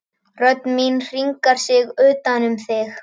Rödd mín hringar sig utan um þig.